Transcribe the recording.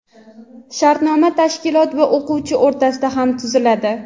Shartnoma tashkilot va o‘quvchi o‘rtasida ham tuziladi.